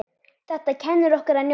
Þetta kennir okkur að njóta.